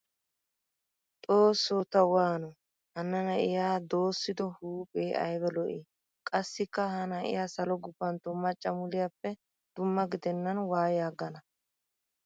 Xooso ta waano! Hana nayiya doossiddo huuphe aybba lo'i! Qassikka ha na'iya salo gufantto macca muliyappe dumma gidennan waayi aggana.